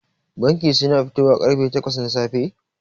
Bankin suna fitowa karfe takwas na safe.